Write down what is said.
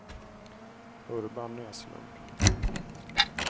Urban Näslund